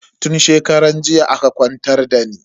Tun shekaran jiya aka kwantar dani.